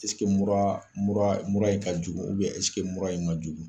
mura mura mura in ka jugu mura in man jugu